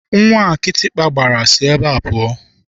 Nwata a kịtịkpa gbara si ebe a pụọ!